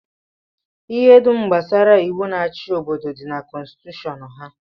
Ihe dum gbasara iwu na-achị obodo dị na kọnstitushọn ha.